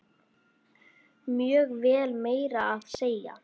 Mjög vel, meira að segja.